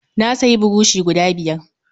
Na sayi burushi guda biyar.